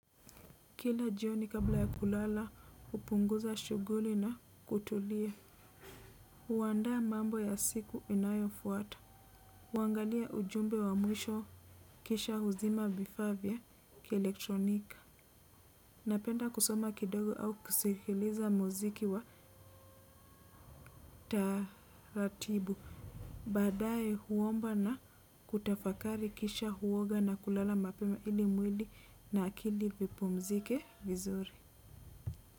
Kila jioni kabla ya kulala hupunguza shughuli na kutulia huandaa mambo ya siku inayo fuata. Huangalia ujumbe wa mwisho kisha huzima vifaa vya ki elektronika. Napenda kusoma kidogo au kusikiliza mziki wa taratibu. Badae huomba na kutafakari kisha huoga na kulala mapema ili mwili na akili vipumzike vizuri.